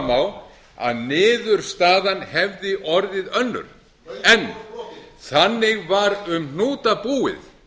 á að niðurstaðan hefði orðið önnur lögin voru brotin þannig var um hnúta búið